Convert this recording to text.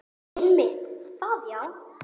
Einmitt það já.